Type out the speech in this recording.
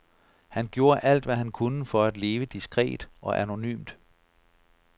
Han gjorde alt, hvad han kunne for at leve diskret og anonymt.